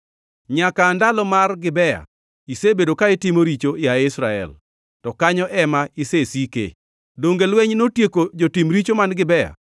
“Nyaka aa ndalo mar Gibea, isebedo ka itimo richo, yaye Israel, to kanyo ema isesike. Donge lweny notieko jotim richo man Gibea?